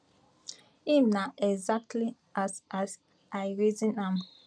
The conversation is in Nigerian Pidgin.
im na exactly as as i reason am